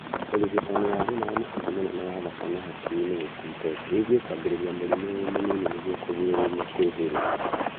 Urigitani wa thĩna wa mũkiha mũnene wa thakame hakiri-inĩ gũkundera wĩgiĩ kwambĩrĩria mũrimũ wĩ mũnini nĩguo kũrigĩrĩria kwĩhĩrĩria